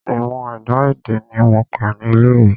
Ìmọ̀ ẹ̀dá-èdè ní mo kà ní ilé ìwé.